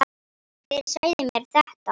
Hver sagði mér þetta?